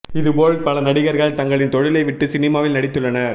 இது போல் பல நடிகர்கள் தங்களின் தொழிலை விட்டு சினிமாவில் நடித்துள்ளனர்